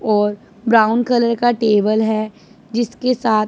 और brown colour का table है जिसके साथ--